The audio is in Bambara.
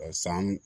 San